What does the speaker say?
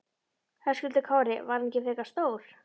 Höskuldur Kári: Var hann ekki frekar stór?